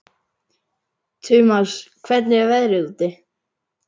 Tumas, hvernig er veðrið úti?